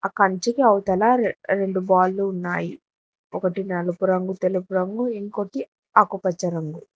కంచెకి అవతల రెండు బాల్లు ఉన్నాయి ఒకటి నలుపు రంగు తెలుపు రంగు ఇంకొటి ఆకుపచ్చ రంగు.